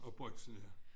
Og Brygsen ja